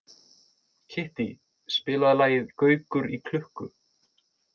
Kittý, spilaðu lagið „Gaukur í klukku“.